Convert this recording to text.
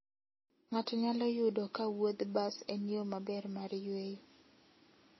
Ng'ato nyalo yudo ka wuodh bas en yo maber mar yueyo.